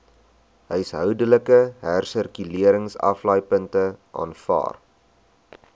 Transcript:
huishoudelike hersirkuleringsaflaaipunte aanvaar